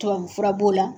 Tubabufura b'o la